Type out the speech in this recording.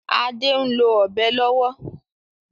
Ade n lo Ọ̀bẹ lówó.